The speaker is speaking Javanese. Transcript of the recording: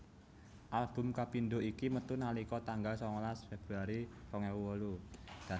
Album kapindho iki metu nalika tanggal sangalas Februari rong ewu wolu